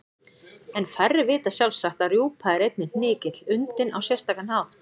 En færri vita sjálfsagt að rjúpa er einnig hnykill undinn á sérstakan hátt.